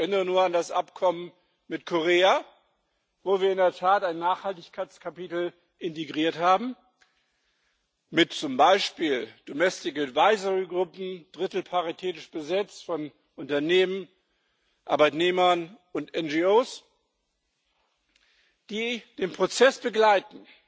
Ich erinnere nur an das Abkommen mit Korea, wo wir in der Tat ein Nachhaltigkeitskapitel integriert haben, mit zum Beispiel domestic advisory groups drittelparitätisch besetzt von Unternehmen, Arbeitnehmern und NGOs die den Prozess begleiten.